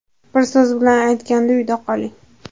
Bir so‘z bilan aytganda – uyda qoling!